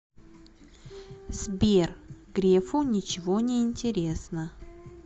сбер грефу ничего не интересно